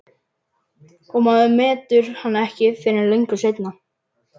Og maður metur hann ekki fyrr en löngu seinna.